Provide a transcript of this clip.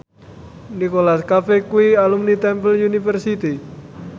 Nicholas Cafe kuwi alumni Temple University